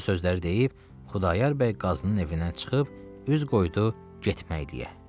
Bu sözləri deyib Xudayar bəy qazının evindən çıxıb üz qoydu getməkləyə.